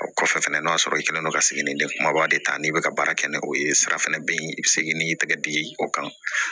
O kɔfɛ fɛnɛ n'o y'a sɔrɔ i kɛlen don ka segin de kumaba de ta n'i bɛ ka baara kɛ ni o ye sira fana bɛ yen i bɛ segin n'i tɛgɛ digi o kan